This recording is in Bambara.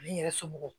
Ani n yɛrɛ somɔgɔw